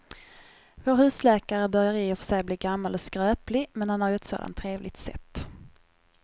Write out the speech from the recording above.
Vår husläkare börjar i och för sig bli gammal och skröplig, men han har ju ett sådant trevligt sätt!